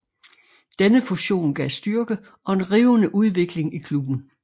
Denne fusion gav styrke og en rivende udvikling i klubben